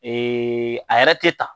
Ee a yɛrɛ tɛ ta